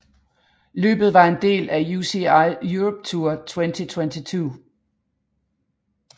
Løbet var en del af UCI Europe Tour 2022